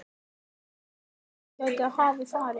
Veist þú hvert hún gæti hafa farið?